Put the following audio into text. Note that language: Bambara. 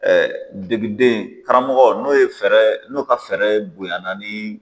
degiden karamɔgɔ n'o ye fɛɛrɛ, n'o ka fɛɛrɛ bonya naani.